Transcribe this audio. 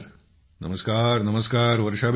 नमस्कार नमस्कार वर्षाबेन